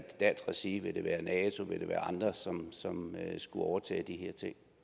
dansk regi vil det være i regi af nato vil det være andre som skulle overtage